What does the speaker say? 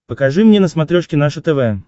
покажи мне на смотрешке наше тв